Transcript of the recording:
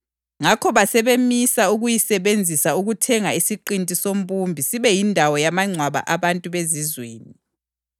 Ngakho basebemisa ukuyisebenzisa ukuthenga isiqinti sombumbi sibe yindawo yamangcwaba abantu bezizweni.